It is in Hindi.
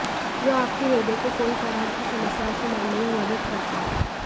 जो आपके हृदय को कई तरह की समस्याओं से लड़ने में मदद करता है